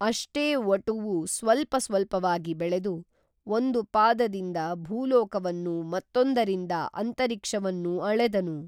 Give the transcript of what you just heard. ಅಷ್ಟೇ ವಟುವು ಸ್ವಲ್ಪ ಸ್ವಲ್ಪವಾಗಿ ಬೆಳೆದು ಒಂದು ಪಾದ ದಿಂದ ಭೂಲೋಕವನ್ನೂ ಮತ್ತೊಂದ್ದರಿಂದ ಅಂತರಿಕ್ಷವನ್ನೂ ಅಳೆದನು